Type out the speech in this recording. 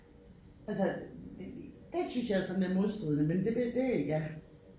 Altså det synes jeg sådan er modstridende men det det det ja